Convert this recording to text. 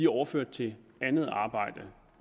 overført til andet arbejde